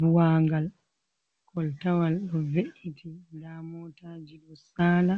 Buwangal koltawal ɗo ve’iti, nda motaji ɗo saala